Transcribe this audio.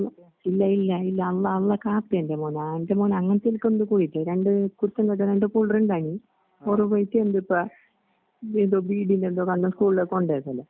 ഇല്ലഇല്ലഇല്ലഅള്ള അള്ളകാക്കയല്ലെമോനേ എൻ്റെമോനെഅങ്ങനെത്തിത്ക്കൊണ്ട്പോയിട്ട് രണ്ട് കുരുത്തംകെട്ടരണ്ട് പുള്ള്റുണ്ടാഞ്ഞി ഓറ്പോയിട്ട്എന്തിപ്പാ ബേതോബീഡിലെന്തൊകള്ളംസ്കൂൾല്കൊണ്ടുവരുന്നില്ലെ.